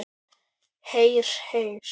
Heyr, heyr.